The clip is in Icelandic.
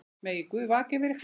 Megi Guð vaka yfir ykkur.